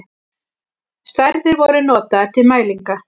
Stærðir voru notaðar til mælinga.